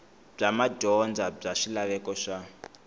bya madyondza bya swilaveko swa